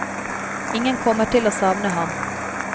Ingen kommer til å savne ham.